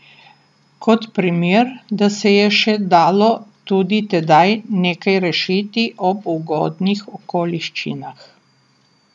Kot primer, da se je še dalo tudi tedaj nekaj rešiti ob ugodnih okoliščinah.